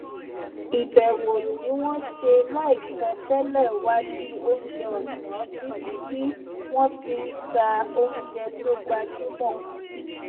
ìbèwò tí wón ṣe láìsọ télè wá di oúnjẹ òsán níbi tí wón ti ń ta oúnjẹ tó gbajúmọ